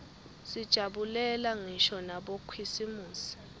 sijabulela ngisho nabokhisimusi